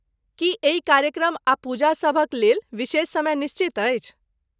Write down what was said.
की एहि कार्यक्रम आ पूजा सभ क लेल विशेष समय निश्चित अछि?